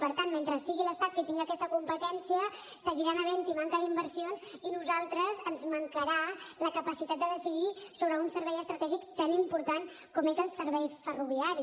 per tant mentre sigui l’estat qui tingui aquesta competència seguirà havent hi manca d’inversions i a nosaltres ens mancarà la capacitat de decidir sobre un servei estratègic tan important com és el servei ferroviari